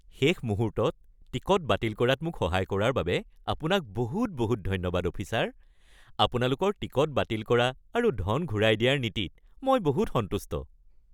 শেষ মুহূৰ্তত টিকট বাতিল কৰাত মোক সহায় কৰাৰ বাবে আপোনাক বহুত বহুত ধন্যবাদ অফিচাৰ, আপোনালোকৰ টিকট বাতিল কৰা আৰু ধন ঘূৰাই দিয়াৰ নীতিত মই বহুত সন্তুষ্ট।